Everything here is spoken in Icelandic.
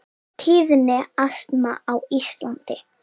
Tíðni astma á Íslandi